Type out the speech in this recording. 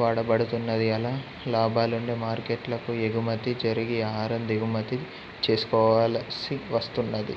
వాడబడుతున్నది అలా లాభాలుండే మార్కెట్లకు ఎగుమతి జరిగి ఆహారం దిగుమతి చేసుకోవలసివస్తున్నది